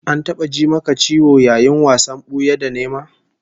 An taba ji maka ciwo yayin wasan buya da nema?